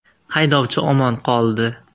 Haydovchi omon qoldi.